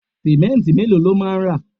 simẹnti melo lo ma ra